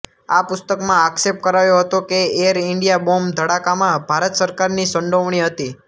આ પુસ્તકમાં આક્ષેપ કરાયો હતો કે એર ઇન્ડિયા બોમ્બ ધડાકામાં ભારત સરકારની સંડોવણી હતી